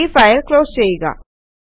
ഈ file close ചെയ്യുക